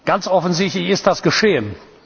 Ganz offensichtlich ist das geschehen.